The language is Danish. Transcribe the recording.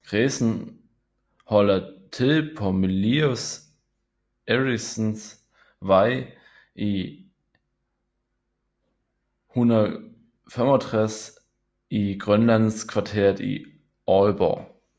Kredsen holder til på Mylius Erichens Vej 165 i Grønlandskvarteret i Aalborg